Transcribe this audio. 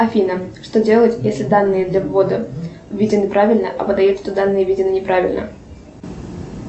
афина что делать если данные для ввода введены правильно а выдает что данные введены неправильно